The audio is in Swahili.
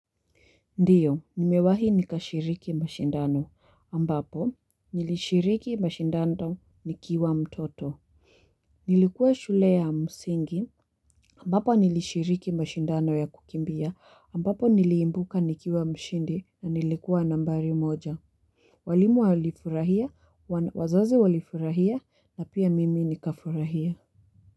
Ndiyo, nimewahi nikashiriki mashindano, ambapo, nilishiriki mashindando nikiwa mtoto. Nilikuwa shule ya msingi, ambapo nilishiriki mashindano ya kukimbia, ambapo niliimbuka nikiwa mshindi na nilikuwa nambari moja. Walimu walifurahia, wazazi walifurahia na pia mimi nikafurahia.